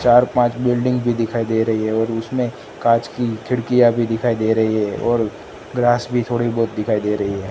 चार पांच बिल्डिंग भी दिखाई दे रही है और उसमें कांच की खिड़कियां भी दिखाई दे रही है और ग्रास भी थोड़ी बहुत दिखाई दे रही है।